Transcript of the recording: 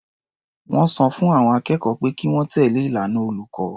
Wọ́n sọ fún àwọn akẹ́kọ̀ọ́ pé kí wọ́n tẹ̀lé ìlànà olùkọ́.